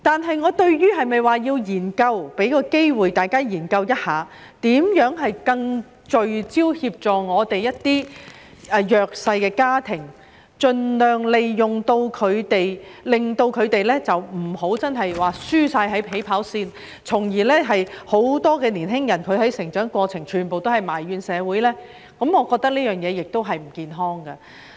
不過，我同意給大家一個機會，研究如何能更聚焦地協助一些弱勢家庭，令他們不要輸在起跑線，因為這會導致很多年輕人在成長過程中埋怨社會，我覺得這是不健康的。